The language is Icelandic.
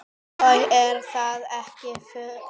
Og er það ekki furða.